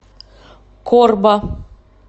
корба